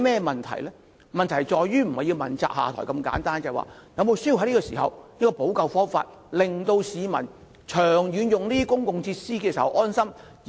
問題不是誰人要問責下台如此簡單，此刻是否需要想出補救方法，令市民可以安心長遠使用公共設施？